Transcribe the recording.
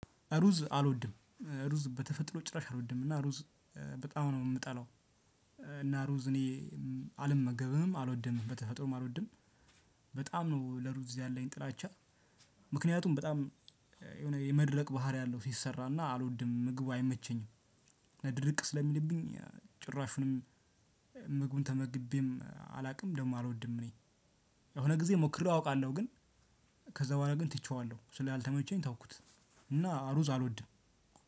ሩዝ አልወድም ሩዝ በተፈጥሮ ጭራሽ አልወድም እና ሩዝ በጣም ነው የምጠላው። እና ሩዝ እኔ አልመገብም አልወድም በተፈጥሮም አልወድም በጣም ነው ለሩዝ ያለኝ ጥላቻ። ምክንያቱም በጣም የሆነ የመድረቅ ባህሪ አለው ሲሰራና አልወድም ምግቡ አይመቸኝም። ድርቅ ስለሚልብኝ ጭራሹንም ምግቡን ተመግቤም አላውቅም። ደግሞ አልወድም እኔ የሆነ ጊዜ ሞክሬው አውቃለሁ። ግን ከዛ በኋላ ግን ትቼዋለሁ ስላልተመቸኝ ተውኩት። እና ሩዝ አልወድም።